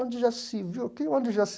Onde já se viu? Que onde já